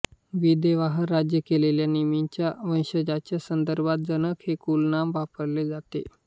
विदेहावर राज्य केलेल्या निमीच्या वंशजांच्या संदर्भात जनक हे कुलनाम वापरले जाते